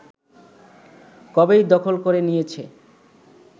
কবেই দখল করে নিয়েছে